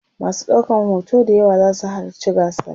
masu ɗaukan hoto d yawa zasu halatci gasar